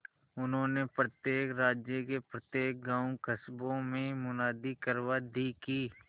उन्होंने प्रत्येक राज्य के प्रत्येक गांवकस्बों में मुनादी करवा दी कि